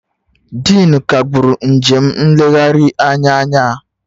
Dean kagburu njem nlegharị anya anyị